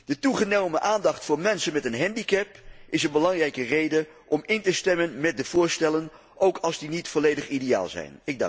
De toegenomen aandacht voor mensen met een handicap is een belangrijke reden om in te stemmen met de voorstellen, ook als die niet volledig ideaal zijn.